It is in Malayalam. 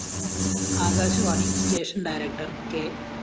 Akashvani station director K